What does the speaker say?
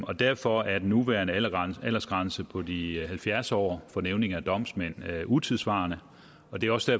og derfor er den nuværende aldersgrænse aldersgrænse på de halvfjerds år for nævninge og domsmænd utidssvarende og det er også